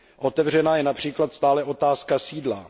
Otevřená je například stále otázka sídla.